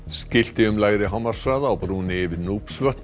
skilti um lægri hámarkshraða á brúnni yfir